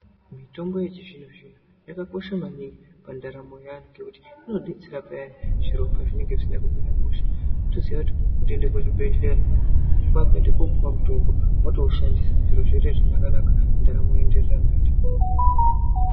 Mitombo yechizvino-zvino yakakosha maningi pandaramo yevantu. Ngekuti inobetsera payani zviropazvinonga zvisina kumira mushe. Votoziva kuti kuende kuzvibhedhleya kwakuenda kopuva mutombo votoushandisa zviro zvotoite zvakanaka-naka, ndaramo yoenderera mberi.